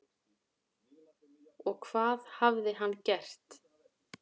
Og hvað hafði hann gert?